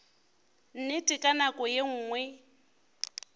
nnete ka nako ye nngwe